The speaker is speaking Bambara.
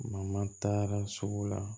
taara sugu la